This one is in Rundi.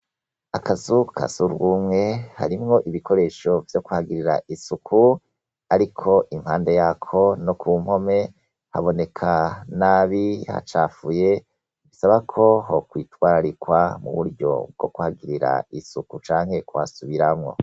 Akazu ka surwumwe, harimwo ibikoresho vyo kuhagirira isuku, ariko impande yako no kumpome, haboneka nabi hacafuye , bisaba ko hokwitwararikwa mu buryo bwo kuhagirira isuku canke kuhasubiramwo .